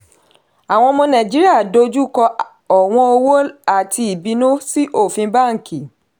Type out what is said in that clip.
àwọn ọmọ nàìjíríà dojúkọ ọ̀wọ́n owó àti ìbínú sí ofin bánkì.